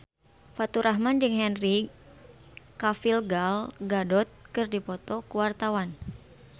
Faturrahman jeung Henry Cavill Gal Gadot keur dipoto ku wartawan